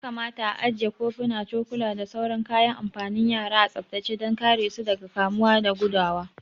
Ya kamata a ajiye kofuna, cokula da sauran kayan amfanin yara a tsaftace dan kare su daga kamuwa da gudawa